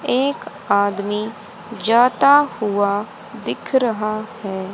एक आदमी जाता हुआ दिख रहा है।